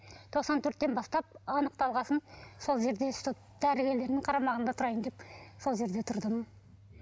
тоқсан төрттен бастап анықталған соң сол жерде чтоб дәрігерлердің қарамағында тұрайын деп сол жерде тұрдым